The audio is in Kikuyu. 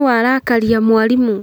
Nũ warakaria mwarimũ